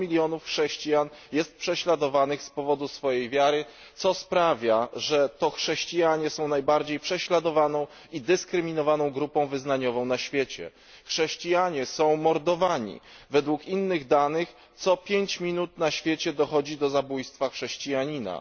100 milionów chrześcijan jest prześladowanych z powodu swojej wiary, co sprawia, że to chrześcijanie są najbardziej prześladowaną i dyskryminowaną grupą wyznaniową na świecie. Chrześcijanie są mordowani, według innych danych, co 5 minut na świecie dochodzi do zabójstwa chrześcijanina.